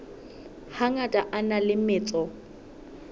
hangata a na le metso